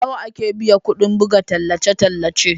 Nawa ake biya kudin buga tallace-tallace